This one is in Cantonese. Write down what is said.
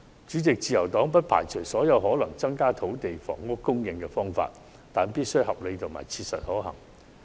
主席，自由黨不排除任何可能增加土地及房屋供應的方法，但必須合理及切實可行。